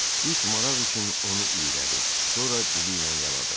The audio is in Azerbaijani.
İt maraq üçün onu iylədi, sonra diliylə yaladı.